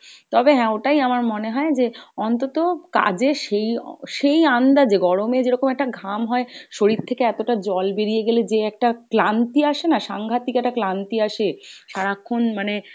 তবে হ্যাঁ, ওটাই আমার মনে হয় যে অন্তত কাজে সেই সেই আন্দাজে গরমে যেরকম একটা ঘাম হয়, শরীর থেকে এতটা জল বেরিয়ে গেলে যে একটা ক্লান্তি আসেনা? সাংঘাতিক একটা ক্লান্তি আসে সারাক্ষণ মানে